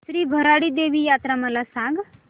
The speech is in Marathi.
श्री भराडी देवी यात्रा मला सांग